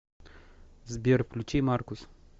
сбер включи маркус